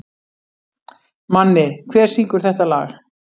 Manni, hver syngur þetta lag?